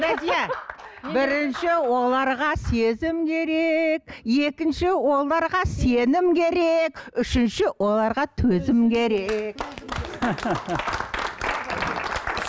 гүлназия бірінші оларға сезім керек екінші оларға сенім керек үшінші оларға төзім керек